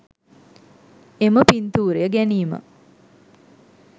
එම පින්තූරය ගැනීම